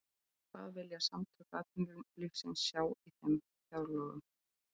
En hvað vilja Samtök atvinnulífsins sjá í þeim fjárlögum?